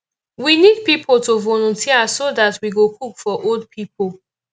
we need people to volunteer so dat we go cook for old people